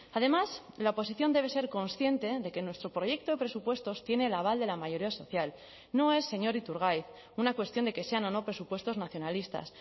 además la oposición debe ser consciente de que nuestro proyecto de presupuestos tiene el aval de la mayoría social no es señor iturgaiz una cuestión de que sean o no presupuestos nacionalistas